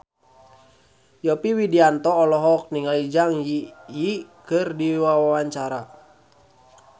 Yovie Widianto olohok ningali Zang Zi Yi keur diwawancara